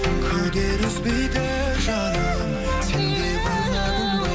күдер үзбейді жаным сен де байқадың ба